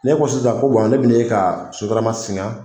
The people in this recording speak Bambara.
Ne ko sisan ko ne be n'e ka sotarama singa